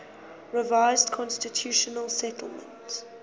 revised constitutional settlement